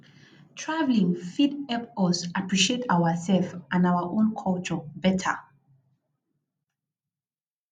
traveling fit help us appreciate ourselves and our own culture better